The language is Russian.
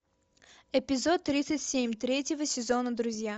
эпизод тридцать семь третьего сезона друзья